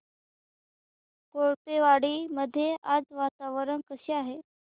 कोळपेवाडी मध्ये आज वातावरण कसे आहे